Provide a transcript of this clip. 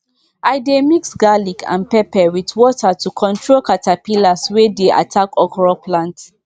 i dey mix garlic and pepper with water to control caterpillars wey dey attack okra plants